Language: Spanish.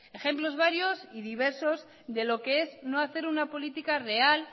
ejemplos varios y diversos de lo que es no hacer una política real